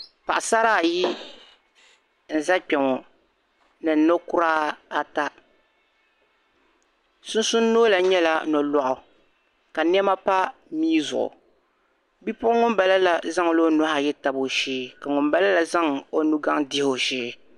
Pasara ayi n-za kpeŋɔ, ni nɔkura ata. sunsuni nɔɔla nyɛla nɔlɔɣu ka nema pa mii zuɣu bipuɣin ŋun bala la zaŋla onuhi ayi n tabi o shee ka ŋun balala zaŋ onugaŋa n dihi o shee.